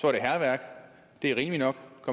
er det hærværk det er rimeligt nok